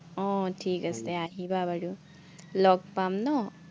আহ ঠিক আছে, আহিবা বাৰু। লগ পাম ন।